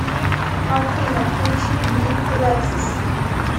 афина включи биф лексес